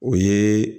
O ye